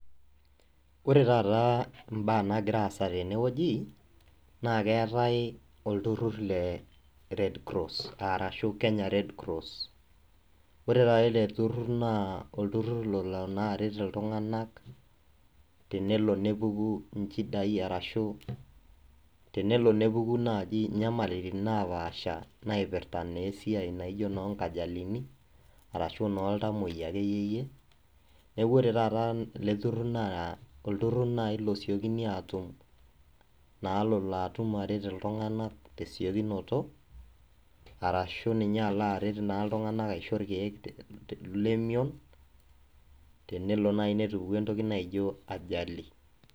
Ore taata mbaa naagira aasa tene wueji naa keetae olturrur le {Red Cross} arashu. Ore taata ele turrur naa olturrur olo aret iltunganak tenelo nepuku inchidai arashu tenepuku inyamalatain napaasha naipirta esiai naijo enoo nkajalini arashu iltamuoia. Neaku ore taata ele turrur naa olturrur losiokini aatum peelo aret iltunganak naa tesiokinoto arashu ninye alo aret iltunganak aisho olchani lemion tenelo naaji netupukuo entoki naijo {ajali}